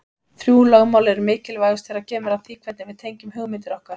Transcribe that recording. Þrjú lögmál eru mikilvægust þegar kemur að því hvernig við tengjum hugmyndir okkar.